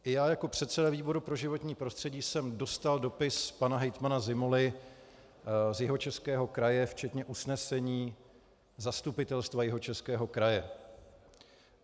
I já jako předseda výboru pro životní prostředí jsem dostal dopis pana hejtmana Zimoly z Jihočeského kraje včetně usnesení Zastupitelstva Jihočeského kraje.